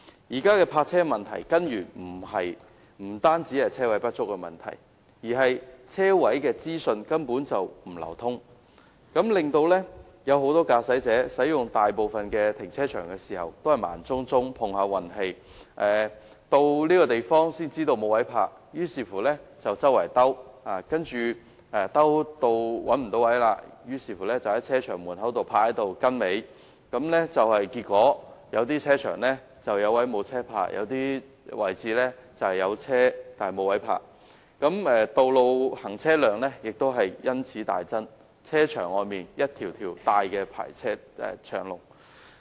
現時有關泊車的問題，根源不單是泊車位不足，而是泊車位的資訊根本不流通，令很多駕駛者使用大部分的停車場時都是盲摸摸碰運氣，到達時才知道沒有泊車位，於是駕着車輛四處尋找，如果再找不到車位，便停泊在停車場門前排隊，結果有些停車場"有位無車泊"，有些則"有車但無位泊"，道路行車量也因此大增，停車場外汽車大排長龍。